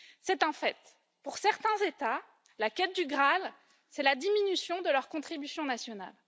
C'est un fait pour certains États, la quête du Graal, c'est la diminution de leur contribution nationale.